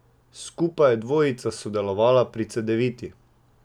Skupaj je dvojica sodelovala pri Cedeviti.